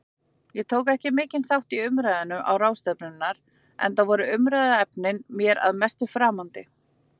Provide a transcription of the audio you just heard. Ég tók ekki mikinn þátt í umræðum ráðstefnunnar, enda voru umfjöllunarefnin mér að mestu framandi.